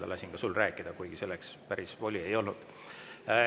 Lasin sul rääkida, kuigi sul selleks päris voli ei olnud.